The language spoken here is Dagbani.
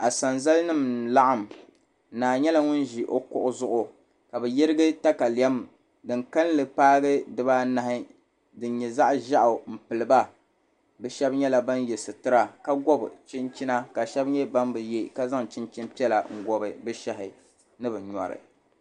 Asanzali nim n laɣam naa nyɛla ŋun ʒi o kuɣu zuɣu ka ni yirigi katalɛm din kanli paai dibaanahi din nyɛ zaɣ ʒiɛɣu n piliba bi shab nyɛla ban yɛ sitira ka gob chinchina ka shab nyɛ ban bi yɛ ka zaŋ chinchini piɛla n gobi bi shahi ni bi nyori